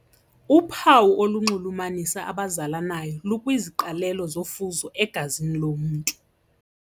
Uphawu olunxulumanisa abazalanayo lukwiziqalelo zofuzo egazini lomntu.